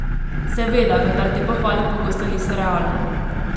Seveda, vendar te pohvale pogosto niso realne.